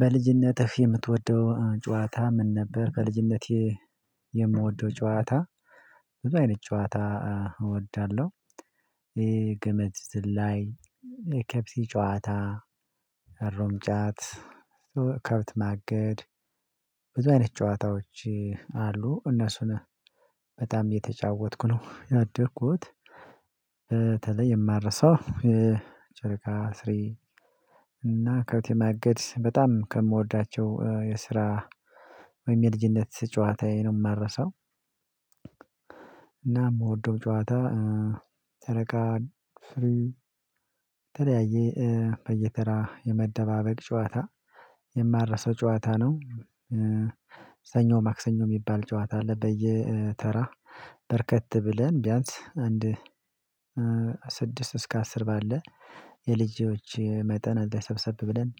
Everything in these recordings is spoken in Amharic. በልጅነትህ የምትወደው ጨዋታ ምን ነበር? በልጅነቴ የምወደው ጨዋታ ብዙ አይነት ጨዋታ እወዳለሁ ይሄ ገመድ ዝላይ የኬፕሲ ጨዋታ ሩምጃት ከብት ማገድ ብዙ አይነት ጨዋታዎች አሉ እነሱን በጣም የተጫወትኩ ነው ያደርኩት። በተለይ የማረሳው ጨረቃ ስሪ እና ከቤቴ ማገድ በጣም ከምወዳቸው የስራ ወይም የልጅነት ጨዋታዬ ነው የማረሳው። እና የምወደው ጨዋታ ተረጋ ተለያየ በየተራ የመደባበቅ ጨዋታ የማረሰው ጨዋታ ነው። ሰኞ ማክሰኞ የሚባል ጨዋታ አለ በየተራ በረከት ብለን ቢያንስ አንድ እስከ አስር ባለ የልጆች መጠን እዛ ሰብሰብ ብለን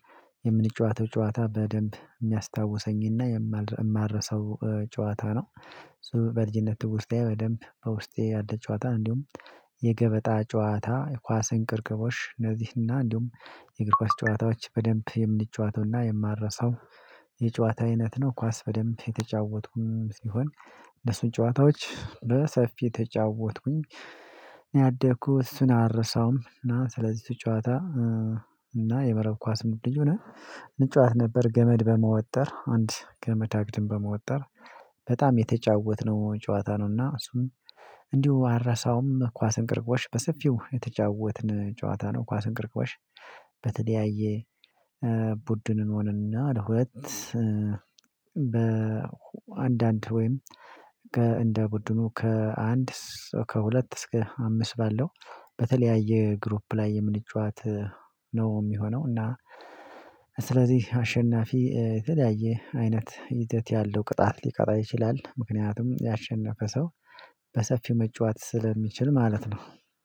የምንጫወተው ጨዋታ በደንብ የሚያስታውሰኝና የማልረሰው ጨዋታ ነው። በልጅነት ውስጤ በደንብ በውስጤ ያለ ጨዋታ እንዲሁም የገበጣ ጨዋታ የኳስ እንቅርቅቦሽ እነዚህና እንዲሁም የእግር ኳስ ጨዋታዎች በደንብ የምንጨዋተውና የማረሳው የጨዋታ አይነት ነው። ኳስ በደንብ የተጫወትኩኝ ሲሆን እነሱን ጨዋታዎች በሰፊ የተጫወትኩኝ ያደኩት እሱን አልረሳውም። እና ስለዚህ ጫወታ እና የመረብ ኳስ ሙሉ ልጁን እንጫወት ነበር። ገመድ በመወጠር አንድ ገመድ አግድም በመወጠር በጣም የተጫወትነው ጨዋታ ነውና እሱም እንዲሁ አልረሳውም። ኳስን ቅርቅሮሽ በሰፊው የተጫወትን ጨዋታ ነው። ኳስን ቅርቅሮሽ በተለያየ ቡድን እንሆንና ለሁለት በአንዳንድ ወይም እንደ ቡድኑ ከአንድ ከሁለት እስከ አምስት ባለው በተለያየ ግሩፕ ላይ የምንጫወት ነው። የሚሆነው እና ስለዚህ አሸናፊ የተለያየ አይነት ሂደት ያለው ቅጣት ሊቀጣ ይችላል። ምክንያቱም ያሸነፈ ሰው በሰፊው መጫወት ስለሚችል ማለት ነው።